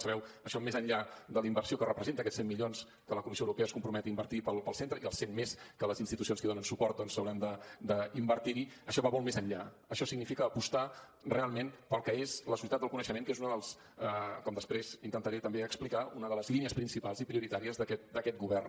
sabeu això més enllà de la inversió que representa aquests cent milions que la comissió europea es compromet a invertir pel centre i els cent més que les institucions que hi donen suport hauran d’invertir hi això va molt més enllà això significa apostar realment pel que és la societat del coneixement que és com després intentaré també explicar una de les línies principals i prioritàries d’aquest govern